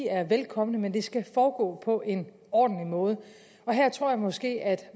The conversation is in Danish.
er velkomne men det skal foregå på en ordentlig måde her tror jeg måske at